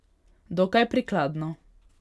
Dokaj prikladno.